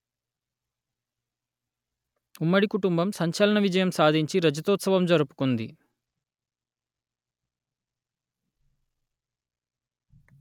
ఉమ్మడి కుటుంబం సంచలన విజయం సాధించి రజతోత్సవం జరుపుకుంది